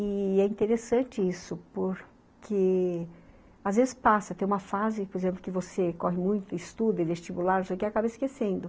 E... é interessante isso, porque às vezes passa, tem uma fase, por exemplo, que você corre muito, estuda, vestibular, não sei o quê, acaba esquecendo.